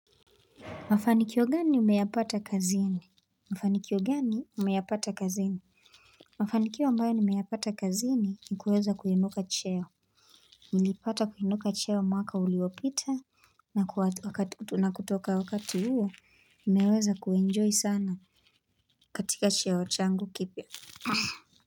Mafanikio gani umeyapata kazini? Mafanikio gani umeyapata kazini? Mafanikio ambayo nimeyapata kazini ni kuweza kuinuka cheo. Nilipata kuinuka cheo mwaka uliopita na kutoka wakati huo imeweza kuenjoy sana katika cheo changu kipya.